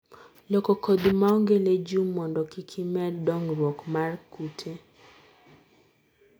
Loko kodhi maonge legume mondo kikimed dongruok mar kute.